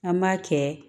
An b'a kɛ